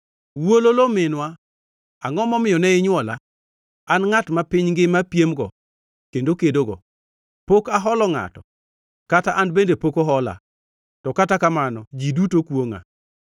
Wuololo, minwa, angʼo momiyo ne inywola, an ngʼat ma piny ngima piemgo kendo kedogo! Pok aholo ngʼato kata an bende pok ohola, to kata kamano ji duto kwongʼa.